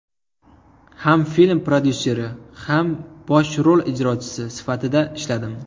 Ham film prodyusseri, ham bosh rol ijrochisi sifatida ishladim.